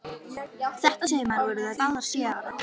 Þetta sumar voru þær báðar sjö ára.